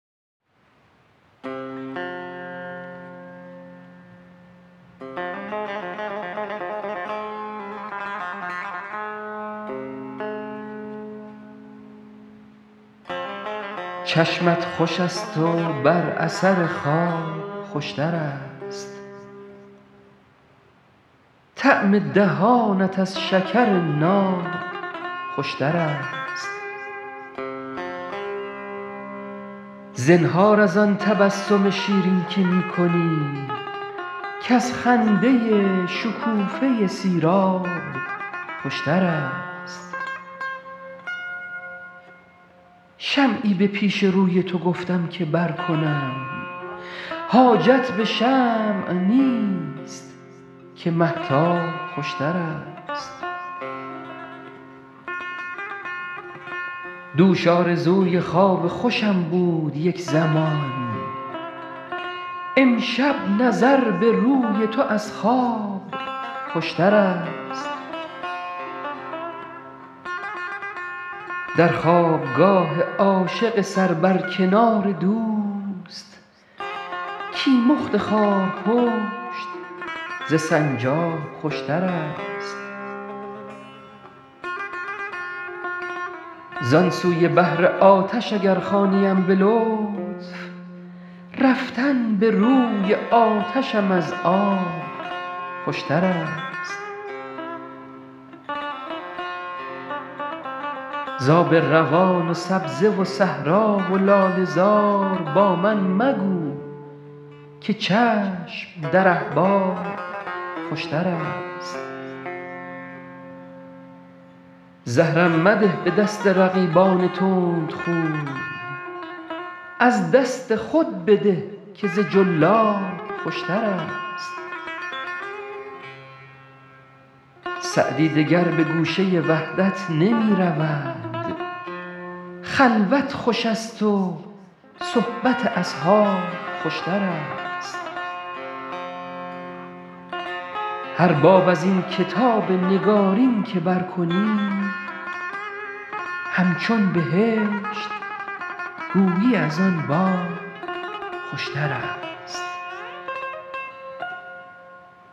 چشمت خوش است و بر اثر خواب خوش تر است طعم دهانت از شکر ناب خوش تر است زنهار از آن تبسم شیرین که می کنی کز خنده شکوفه سیراب خوش تر است شمعی به پیش روی تو گفتم که برکنم حاجت به شمع نیست که مهتاب خوش تر است دوش آرزوی خواب خوشم بود یک زمان امشب نظر به روی تو از خواب خوش تر است در خواب گاه عاشق سر بر کنار دوست کیمخت خارپشت ز سنجاب خوش تر است زان سوی بحر آتش اگر خوانیم به لطف رفتن به روی آتشم از آب خوش تر است ز آب روان و سبزه و صحرا و لاله زار با من مگو که چشم در احباب خوش تر است زهرم مده به دست رقیبان تندخوی از دست خود بده که ز جلاب خوش تر است سعدی دگر به گوشه وحدت نمی رود خلوت خوش است و صحبت اصحاب خوش تر است هر باب از این کتاب نگارین که برکنی همچون بهشت گویی از آن باب خوشترست